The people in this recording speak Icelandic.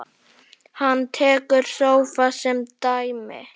Hann tekur sófa sem dæmi.